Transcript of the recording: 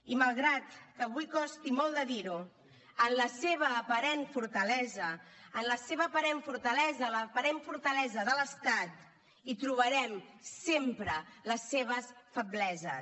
i malgrat que avui costi molt de dir ho en la seva aparent fortalesa en la seva aparent fortalesa l’aparent fortalesa de l’estat hi trobarem sempre les seves febleses